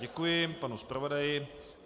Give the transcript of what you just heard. Děkuji panu zpravodaji.